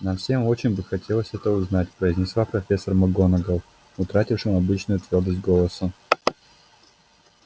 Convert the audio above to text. нам всем очень бы хотелось это узнать произнесла профессор макгонагалл утратившим обычную твёрдость голосом